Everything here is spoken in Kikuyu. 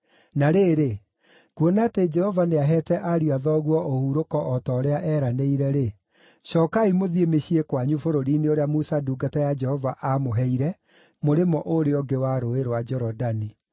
Na rĩrĩ, kuona atĩ Jehova nĩaheete ariũ a thoguo ũhurũko o ta ũrĩa eeranĩire-rĩ, cookai mũthiĩ mĩciĩ kwanyu bũrũri-inĩ ũrĩa Musa ndungata ya Jehova aamũheire mũrĩmo ũũrĩa ũngĩ wa Rũũĩ rwa Jorodani.